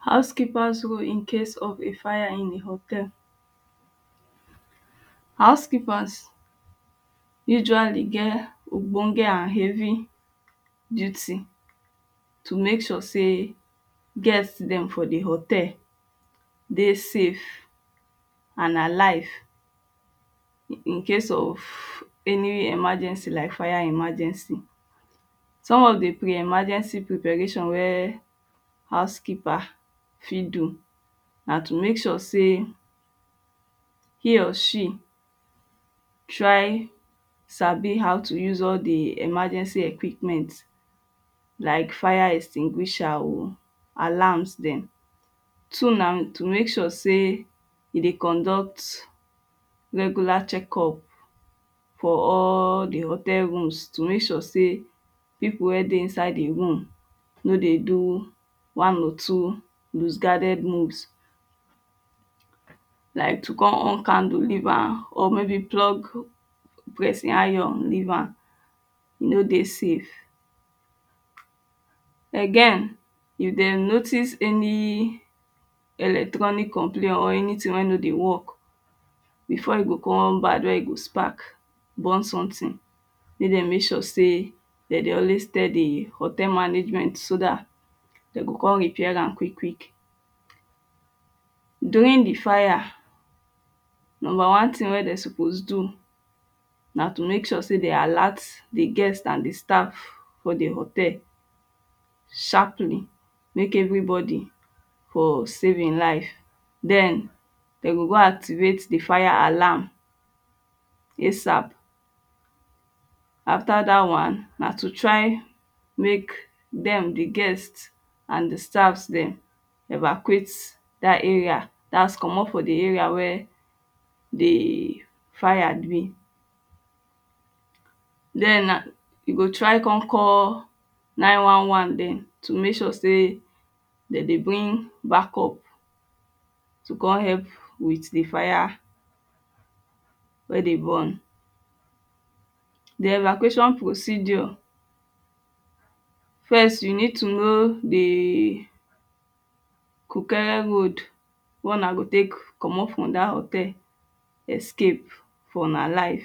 House keeper’s role in case of a fire in a hotel. House keepers usually get ogbonge and heavy duty to mek sure sey guest dem for the hotel dey safe and alive incase of any emergency like fire emergency some of de emergency preparation wey house keeper fit do na to mek sure say he or she try sabi how to use all the emergency equipment like fire extinguisher alarms dem so na to mek sure se you go dey conduct regular check up for all the hotel rooms to make sure say people wey dey inside the room no dey do one or two loose guarded moves like to come on candle leave am or maybe plug pressing iron leave am e no dey safe Again if dem notice any electronic complain or anytin wey no dey work before e go come bad wey e go spark burn sometin mek dem mek sure say dem dey always tell the hotel management so dat dem go come repair am quick quick During de fire number one tin wey dem suppose do na to mek sure say dey alert the guest and the staff for the hotel sharply make every body for safe him life den dem go go activate de fire alarm asap after dat one na to try mek dem de guest and the staff dem evacuate dat area dat comot for the area wey de fire dey den na you go try con call 911 dem to mek sure say dem dey bring back up to come help with the fire wey dey burn de evacuation procedure first you need to know the kukere road wey una go tek comot from that hotel escape for una life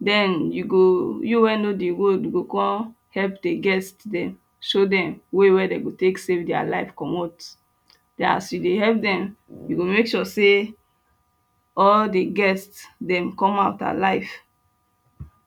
den you go you wey know the road you go come help de guest dem show dem way wey dem go tek save dia life komot as you dey help them you go mek sure say all de guest dem come out alive.